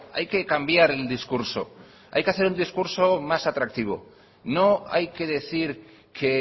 hay que cambiar el discurso hay que hacer el discurso más atractivo no hay que decir que